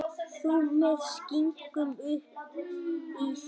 Þú með skinkuna uppí þér.